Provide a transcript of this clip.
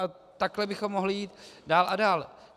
A takhle bychom mohli jít dál a dál.